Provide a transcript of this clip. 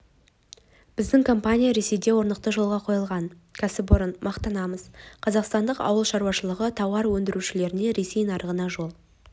біздің компания ресейде орнықты жолға қойылған кәсіпорын мақсатымыз қазақстандық ауыл шаруашылығы тауар өндірушілеріне ресей нарығына жол